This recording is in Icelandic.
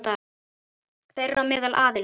Þeirra á meðal aðilum.